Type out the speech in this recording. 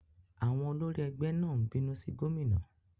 Àwọn olórí ẹgbẹ́ náà ń bínú sí gómìnà.